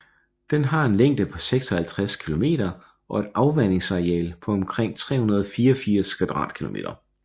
Den har en længde på 56 km og et afvandingsareal på omkring 384 km²